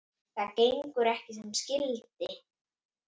Það gengur ekki sem skyldi.